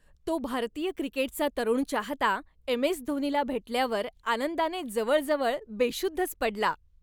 तो भारतीय क्रिकेटचा तरुण चाहता एम.एस.धोनीला भेटल्यावर आनंदाने जवळजवळ बेशुद्धच पडला.